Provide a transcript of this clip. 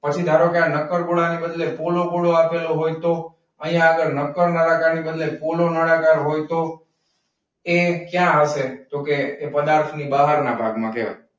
પછી ધારોકે આ નક્કર ગોળાની બદલે પોલો ગોળો આપેલો હોય તો? અહીંયા આગડ નક્કર નડાકાર બદલે પોલો નડાકાર હોય તો? એ ક્યાં હસે? તો કે પદાર્થ ની બહાર ના ભાગ માં કેહવાય.